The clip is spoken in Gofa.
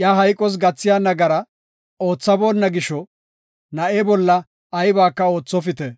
Iya hayqos gathiya nagara oothaboonna gisho, na7e bolla aybaka oothopite.